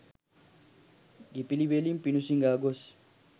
ගෙපිළිවෙලින් පිඬු සිඟා ගොස්